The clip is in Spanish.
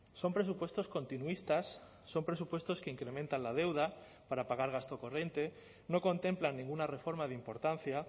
son presupuestos continuistas son presupuestos que incrementan la deuda para pagar gasto corriente no contemplan ninguna reforma de importancia